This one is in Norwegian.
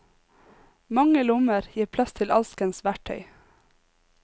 Mange lommer gir plass til alskens verktøy.